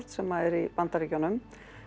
sem er í Bandaríkjunum